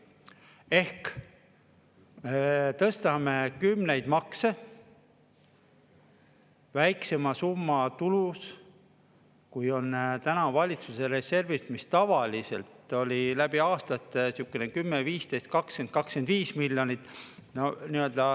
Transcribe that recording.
Ehk tõstame kümneid makse väiksema tulusumma nimel, kui on täna valitsuse reservis, mis tavaliselt oli läbi aastate sihukene 10–15, 20–25 miljonit.